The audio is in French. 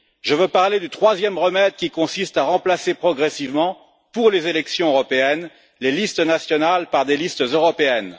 Je veux parler du troisième remède, qui consiste à remplacer progressivement, pour les élections européennes, les listes nationales par des listes européennes.